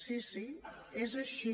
sí sí és així